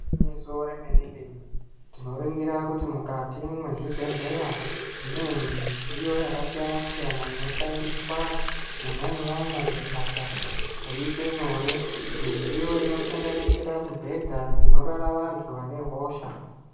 Nyiso remene mene tinoringira kuti mukati mwezvibhedhleya mune midziyo yakasiyana siyana inoshandiswa mwona imwomwo kuti basa riite nyore mudziyo inosanganisira mibhedha dzinorara vantu vane hosha.